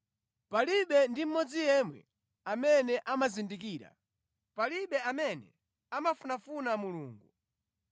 Palibe ndi mmodzi yemwe amene amazindikira, palibe amene amafunafuna Mulungu.